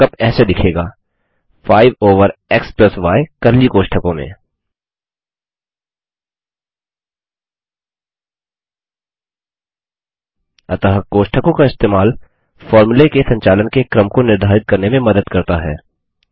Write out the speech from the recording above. और mark up ऐसे दिखेगा 5 ओवर xy कर्ली कोष्ठकों में अतः कोष्ठकों का इस्तेमाल फ़ॉर्मूले के संचालन के क्रम को निर्धारित करने में मदद करता है